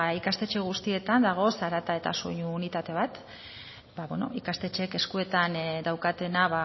ikastetxe guztietan dago zarata eta soinu unitate bat ikastetxeek eskuetan daukatena